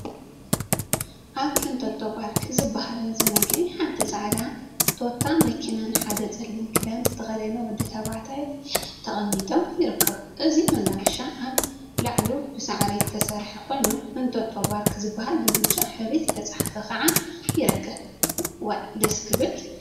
አብ ኢንቶቶ ፓርክ ዝበሃል መዘናግዒ ሓንቲ ፃዕዳ ቴታ መኪናን ሓደ ፀሊም ክዳን ዝተከደነ ወዲ ተባዕታይን ተቀሚጦም ይርከቡ፡፡ እዚ መናፈሻ አብ ላዕሉ ብሳዕሪ ዝተሰርሐ ኮይኑ ኢንቶቶ ፓርክ ዝብል ብብጫ ሕብሪ ዝተፀሓፈ ከዓ ይርከብ፡፡ ዋይ ደስ ክብል!